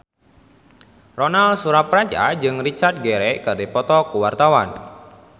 Ronal Surapradja jeung Richard Gere keur dipoto ku wartawan